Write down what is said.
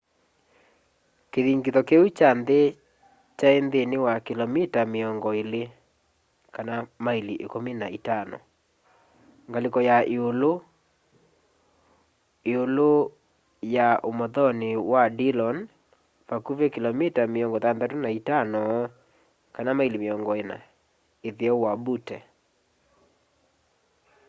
kĩthingitho kĩu kya nthĩ kyaĩ nthĩnĩ wa kĩlomita mĩongo ĩlĩ maĩli ĩkumi na itano ngalĩko ya ĩũlũĩ-ũĩlũ ya ũmothonĩ wa dillon vakuvĩ kĩlomita mĩongo thanthatũ na itano maĩli mĩongo ĩna ĩtheo wa butte